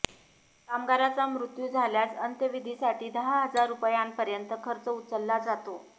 कामगाराचा मृत्यू झाल्यास अंत्यविधीसाठी दहा हजार रुपयांपर्यंत खर्च उचलला जातो